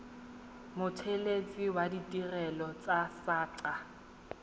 mothelesi wa ditirelo tsa saqa